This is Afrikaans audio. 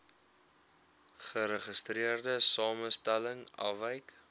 geregistreerde samestelling afwyk